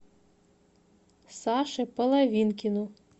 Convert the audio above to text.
саше половинкину